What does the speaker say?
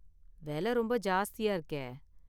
வெல ரொம்ப ஜாஸ்தியா இருக்கே!